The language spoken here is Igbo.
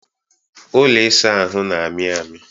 ụlọ ịsa ahụ na-amị amị